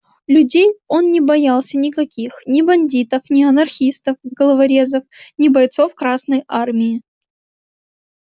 людей он не боялся никаких ни бандитов не анархистов-головорезов ни бойцов красной армии